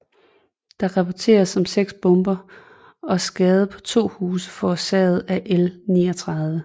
Der rapporteredes om 6 bomber og skade på 2 huse forårsaget af L 39